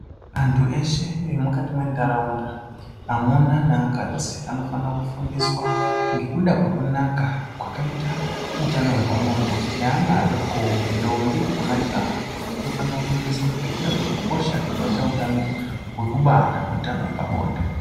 Antu eshe emukati mwenharaunda amuna neakadzi anofane kufundiswa ngekuda kwekunaka kwakaita utano hwepabonde neana adokowo ndombi nemajaha anofane kufundiswa ngekuda kwekukosha kwakaite utano hwekubara neutano hwepabonde.